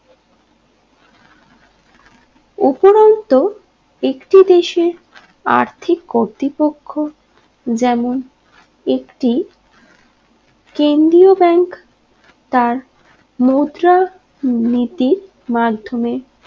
উপরণত একটি দেশে আর্থিক কতৃপক্ষ যেমন একটি কেন্দ্রীয় ব্যাঙ্ক তার মুদ্রা নীতির মাধ্যমে